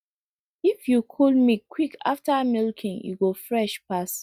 if you cool milk quick after milking e go fresh pass